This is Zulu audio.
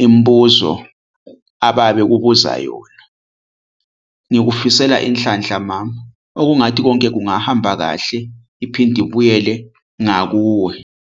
imibuzo ababekubuza yona. Ngikufisela inhlanhla mama. Okungathi konke kungahamba kahle iphinde ibuyele ngakuwe.